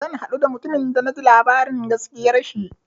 Zan haɗu da mutumin da na ji labarin gaskiyar shi.